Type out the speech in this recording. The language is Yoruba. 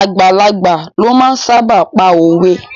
Àgbàlagbà lo máa ń sáábà pa òwe